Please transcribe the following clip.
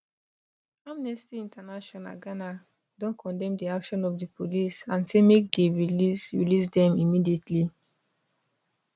amnesty international ghana don condemn di action of di police and say make dey release release dem immediately